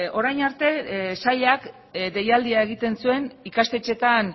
orain arte sailak deialdia egiten zuen ikastetxeetan